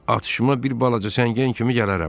Atışıma bir balaca səngər kimi gələrəm.